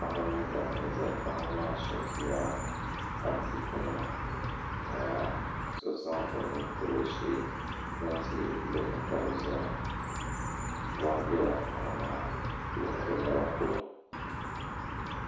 Paɣiba mini dabba n-zaya paɣiba maa shɛba ʒila adiikunima ka so zaŋ o nuu tabi o shee moon'tia gbunni ka bɛ zaya mɔri bela paɣiba maa bɛ naba polo.